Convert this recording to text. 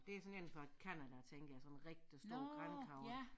Det sådan en fra Canada tænker jeg sådan en rigtig stor grankogle